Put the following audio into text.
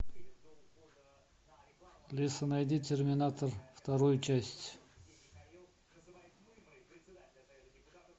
алиса найди терминатор вторую часть